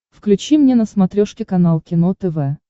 включи мне на смотрешке канал кино тв